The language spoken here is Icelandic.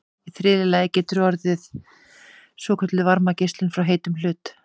í þriðja lagi getur orðið svokölluð varmageislun frá heitum hlut